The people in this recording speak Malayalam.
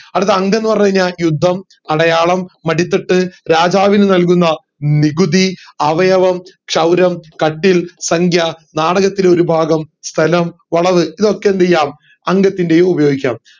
അടുത്ത അംഗം എന്ന് പറഞ്ഞു കൈഞ്ഞാ യുദ്ധം അടയാളം മടിത്തട്ട് രാജാവിന് നൽകുന്ന നികുതി അവയവം ക്ഷൗരം കട്ടിൽ സംഖ്യ നാടകത്തിലെ ഒരു ഭാഗം സ്ഥലം വളവ് ഇതൊക്കെ എന്ത് ചെയ്യാം അംഗത്തിന്റെയും ഉപയോഗിക്കാം